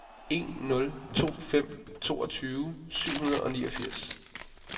en nul to fem toogtyve syv hundrede og niogfirs